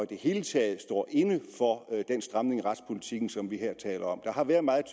det hele taget står inde for den stramning af retspolitikken som vi her taler om der har været meget